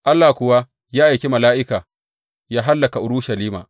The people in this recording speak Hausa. Allah kuwa ya aiki mala’ika yă hallaka Urushalima.